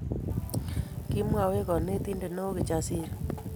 Kimwoch konetindet neo Kijasiri